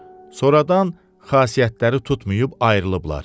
Sonradan xasiyyətləri tutmayıb ayrılıblar.